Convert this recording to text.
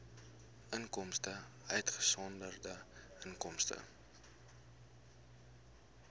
inkomste uitgesonderd inkomste